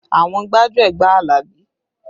Àwọn gbájúẹ̀ gba Alabi